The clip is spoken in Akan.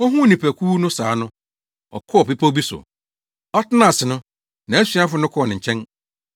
Ohuu nnipakuw no saa no, ɔkɔɔ bepɔw bi so. Ɔtenaa ase no, nʼasuafo no kɔɔ ne nkyɛn.